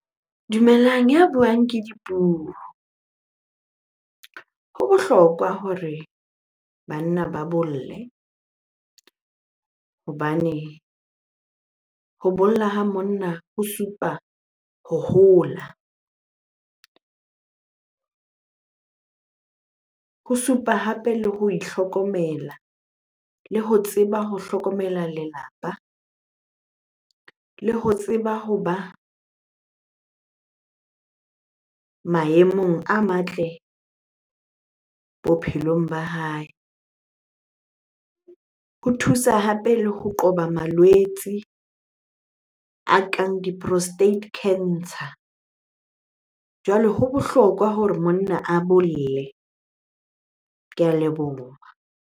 Dumelang, ya buang ke Dipuo. Ho bohlokwa hore banna ba bolle hobane ho bolla ha monna ho supa ho hola. Ho supa hape le ho itlhokomela le ho tseba ho hlokomela lelapa, le ho tseba hoba maemong a matle bophelong ba hae. Ho thusa hape le ho qoba malwetse a kang di-prostate cancer. Jwale ho bohlokwa hore monna a bolle. Ke a leboha.